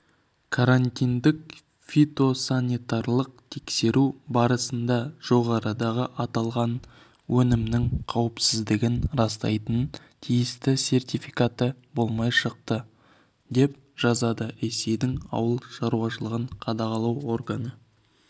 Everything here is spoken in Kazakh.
карантиндік фитосанитарлық тексеру барысында жоғарыдағы аталған өнімнің қауіпсіздігін растайтын тиісті сертификаты болмай шықты деп жазады ресейдің ауыл шаруашылығын қадағалау органы